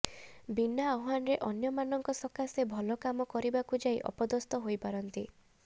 ବିନା ଆହ୍ବାନରେ ଅନ୍ୟମାନଙ୍କ ସକାଶେ ଭଲ କାମ କରିବାକୁ ଯାଇ ଅପଦସ୍ତ ହୋଇପାରନ୍ତି